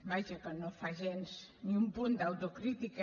vaja que no fa gens ni un punt d’autocrítica